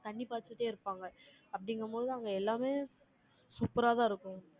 தண்ணி பாய்ச்சிட்டே இருப்பாங்க. அப்படிங்கும்போது, அவங்க எல்லாமே, super ஆதான் இருக்கும்